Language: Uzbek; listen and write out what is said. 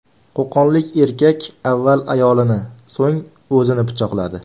Qo‘qonlik erkak avval ayolini, so‘ng o‘zini pichoqladi.